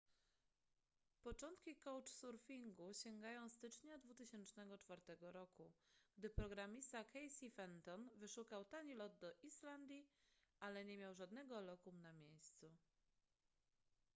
początki couchsurfingu sięgają stycznia 2004 roku gdy programista casey fenton wyszukał tani lot do islandii ale nie miał żadnego lokum na miejscu